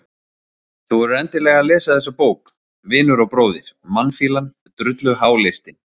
Þú verður endilega að lesa þessa bók, vinur og bróðir, mannfýlan, drulluháleistinn